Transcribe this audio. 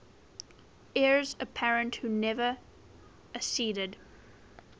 heirs apparent who never acceded